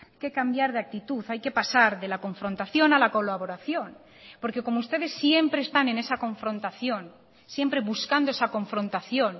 que cambiar de actitud hay que pasar de la confrontación a la colaboración porque como ustedes siempre están en esa confrontación siempre buscando esa confrontación